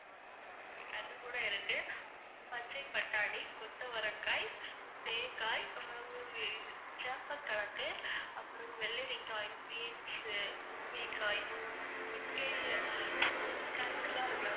அது கூட இருக்கு பச்சைப்பட்டாணி, கொத்தவரங்காய், தேங்காய், பிறவு வந்து சேப்பங்கிழங்கு, அப்புறவு வெள்ளரிக்காய், beans முருங்கைக்காய், முருங்கை தண்டுலாம் இருக்குல்ல